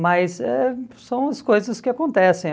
Mas eh são as coisas que acontecem.